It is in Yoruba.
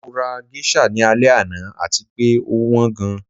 Mo ra geisha ni alẹ ana ati pe o wan gan